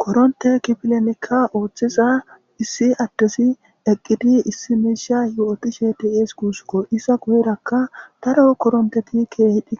Korontte kifilenika othiza issi adezi eqidi issi misha yotishe de'es gussakko. Iza guyerakka daro korontteti keyidi